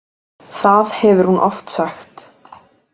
Það hefur hún oft sagt.